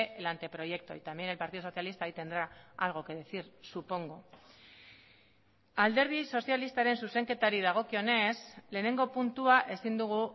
el anteproyecto y también el partido socialista ahí tendrá algo que decir supongo alderdi sozialistaren zuzenketari dagokionez lehenengo puntua ezin dugu